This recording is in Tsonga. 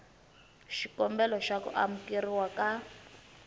xikombelo xa ku amukeriwa ka